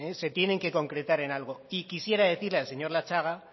se tienen que concretar en algo y quisiera decirle al señor latxaga